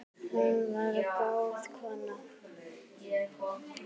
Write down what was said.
Hún var góð kona.